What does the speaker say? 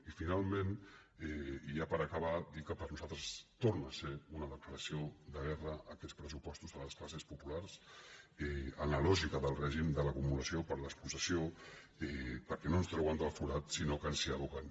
i finalment i ja per acabar dir que per nosaltres tor·nen a ser una declaració de guerra aquests pressupos·tos a les classes populars en la lògica del règim de l’acumulació per despossessió perquè no ens treuen del forat sinó que ens hi aboquen